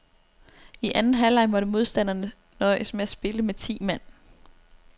I anden halvleg måtte modstanderne nøjes med at spille med ti mand.